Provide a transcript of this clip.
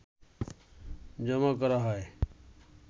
জমা করা হয়